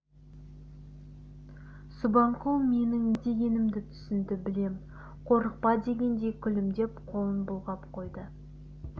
субанқұл менің не дегенімді түсінді білем қорықпа дегендей күлімдеп қолын бұлғап қойды